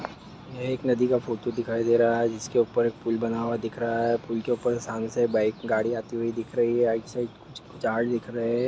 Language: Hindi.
यह एक नदी का फोटो दिखाई दे रहा है जिसके ऊपर एक पुल बना हुआ दिख रहा है पुल के ऊपर सामने से बाइक गाड़ी आती दिख रही है राइट साईड कुछ झाड़ दिख रहे है।